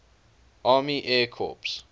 army air corps